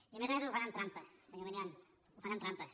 i a més a més ho fan amb trampes senyor milián ho fan amb trampes